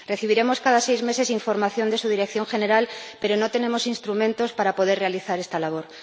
Recibiremos cada seis meses información de su Dirección General, pero no tenemos instrumentos para poder realizar esta labor.